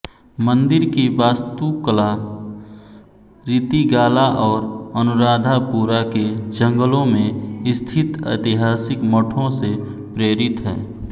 मंदिर की वास्तुकला रितिगाला और अनुराधापुरा के जंगलों में स्थित ऐतिहासिक मठों से प्रेरित है